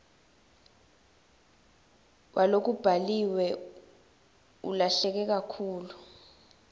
walokubhaliwe ulahleke kakhulu